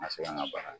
Ka se an ka baara